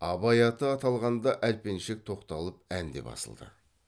абай аты аталғанда әлпеншек тоқталып ән де басылды